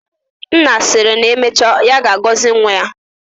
Nna siri na emecha ya gozie nwa ya.